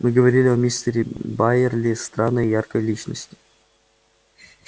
мы говорили о мистере байерли странной и яркой личности